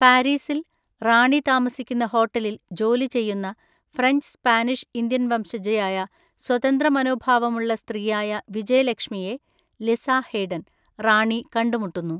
പാരീസിൽ, റാണി താമസിക്കുന്ന ഹോട്ടലിൽ ജോലി ചെയ്യുന്ന ഫ്രഞ്ച് സ്പാനിഷ് ഇന്ത്യൻ വംശജയായ സ്വതന്ത്ര മനോഭാവമുള്ള സ്ത്രീയായ വിജയലക്ഷ്മിയെ (ലിസ ഹെയ്ഡൻ) റാണി കണ്ടുമുട്ടുന്നു.